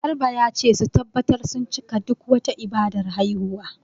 Garba ya ce su tabbatar sun cika duk wata ibadar haihuwa.